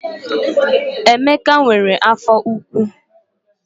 Emeka nwere afọ ụkwụ